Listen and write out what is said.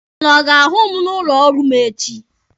Ụnụ ọ ga-ahụ m n'ụlọ ọrụ m echi?